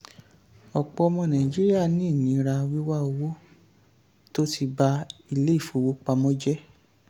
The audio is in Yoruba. ọ̀pọ̀ ọmọ nàìjíríà ní ìnira wíwá owó tó ti ba ilé-ifowopamọ́ jẹ́.